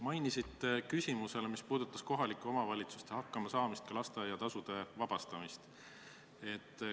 Mainisite ennist ühe küsimuse puhul, mis puudutas kohalike omavalitsuste hakkamasaamist, ka lasteaia kohatasust vabastamist.